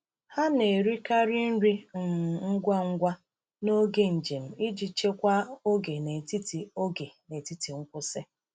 Ha na-erikarị nri um ngwa ngwa n’oge njem iji chekwaa oge n’etiti oge n’etiti nkwụsị.